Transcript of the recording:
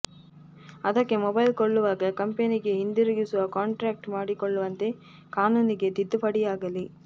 ಅದಕ್ಕೆ ಮೊಬೈಲ್ ಕೊಳ್ಳುವಾಗ ಕಂಪನಿಗೆ ಹಿಂದಿರುಗಿಸುವ ಕಾಂಟ್ರ್ಯಾಕ್ಟ್ ಮಾಡಿಕೊಳ್ಳುವಂತೆ ಕಾನೂನಿಗೆ ತಿದ್ದುಪಡಿಯಾಗಲಿ